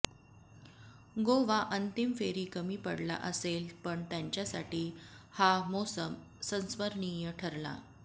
गोवा अंतिम फेरी कमी पडला असेल पण त्यांच्यासाठी हा मोसम संस्मरणीय ठरला